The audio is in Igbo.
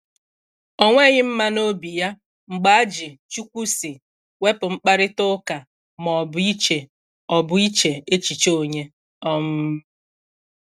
Ọ̀ nweghị mma n’obi ya mgbe a ji “Chukwu sị” wepu mkparịtà ụka ma ọ bụ iche ọ bụ iche echiche onye. um